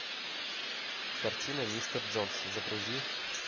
картина мистер джонс загрузи